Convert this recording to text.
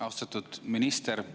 Austatud minister!